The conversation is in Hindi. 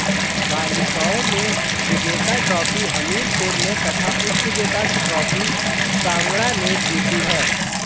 बालिकाओं में विजेता ट्रॉफी हमीरपुर ने तथा उपविजेता ट्रॉफी कांगड़ा ने जीती है